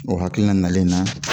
O hakilina nalen n na